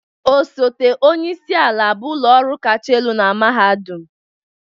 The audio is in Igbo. Osote onye isi ala bụ ụlọ ọrụ kacha elu na mahadum